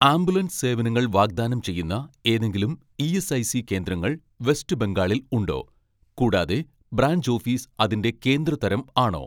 ambulance സേവനങ്ങൾ വാഗ്ദാനം ചെയ്യുന്ന ഏതെങ്കിലും ഇ.എസ്.ഐ.സി കേന്ദ്രങ്ങൾ വെസ്റ്റ് ബംഗാളിൽ ഉണ്ടോ, കൂടാതെ ബ്രാഞ്ച് ഓഫീസ് അതിന്റെ കേന്ദ്ര തരം ആണോ